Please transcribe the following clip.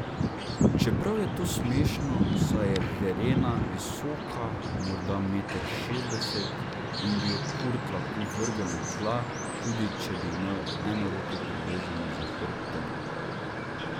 Čeprav je to smešno, saj je Verena visoka morda meter šestdeset in bi jo Kurt lahko vrgel na tla, tudi če bi imel eno roko privezano za hrbtom.